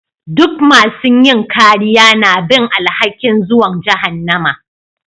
Dukan masun yin kariya na bin alhaki'n zuwan jahannama.